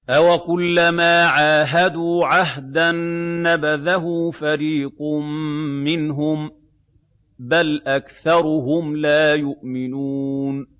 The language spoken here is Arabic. أَوَكُلَّمَا عَاهَدُوا عَهْدًا نَّبَذَهُ فَرِيقٌ مِّنْهُم ۚ بَلْ أَكْثَرُهُمْ لَا يُؤْمِنُونَ